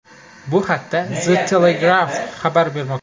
Bu haqda The Telegraph xabar bermoqda .